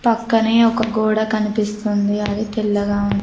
పక్కనే ఒక గోడ కనిపిస్తుంది అది తెల్లగా ఉంది.